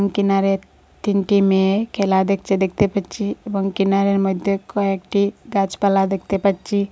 কিনারে তিনটি মেয়ে খেলা দেকছে দেকতে পাচ্চি এবং কিনারের মইদ্যে কয়েকটি গাচপালা দেকতে পাচ্চি।